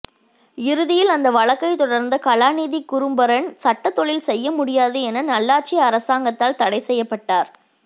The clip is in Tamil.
இறுதியில் அந்த வழக்கை தொடர்ந்த கலாநிதி குருபரன் சட்டத்தொழில் செய்யமுடியாது என நல்லாட்சி அரசாங்கதால் தடை செய்யப்பட்டார்